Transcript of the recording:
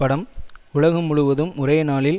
of Phoenix படம் உலகம் முழுவதும் ஒரேநாளில்